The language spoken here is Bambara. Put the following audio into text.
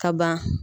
Ka ban